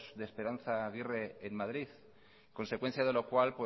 de esperanza aguirre en madrid consecuencia de lo cual